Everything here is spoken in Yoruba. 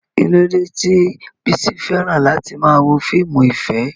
Kí ló dé tí Bisi fẹ́ràn láti máa wo fíìmù ìfẹ́?